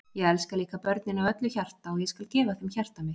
Ég elska líka börnin af öllu hjarta og ég skal gefa þeim hjarta mitt.